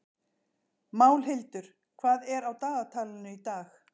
Málhildur, hvað er á dagatalinu í dag?